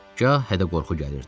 Gâh hətta qorxu gəlirdi.